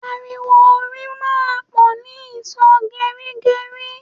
Ariwo orin máa ń pò ni ìsò gerigeri